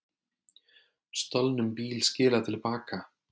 Stolnum bíl skilað til baka